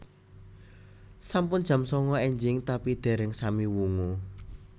Sampun jam sanga enjing tapi dereng sami wungu